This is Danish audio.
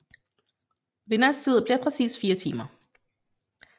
Vinderens tid bliver præcis 4 timer